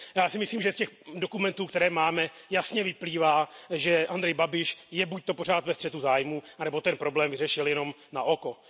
Já si myslím, že z těch dokumentů, které máme, jasně vyplývá, že Andrej Babiš je buď pořád ve střetu zájmů, nebo ten problém vyřešil jenom na oko.